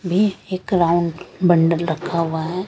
एक round bundle रखा हुआ है ।